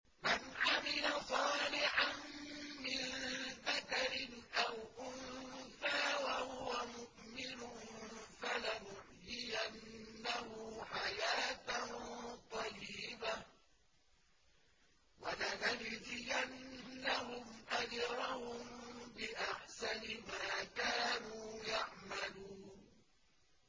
مَنْ عَمِلَ صَالِحًا مِّن ذَكَرٍ أَوْ أُنثَىٰ وَهُوَ مُؤْمِنٌ فَلَنُحْيِيَنَّهُ حَيَاةً طَيِّبَةً ۖ وَلَنَجْزِيَنَّهُمْ أَجْرَهُم بِأَحْسَنِ مَا كَانُوا يَعْمَلُونَ